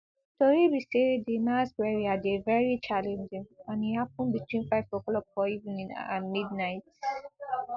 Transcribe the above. tori be say di mass burial dey veri challenging and e happun between five oclock for evening and midnight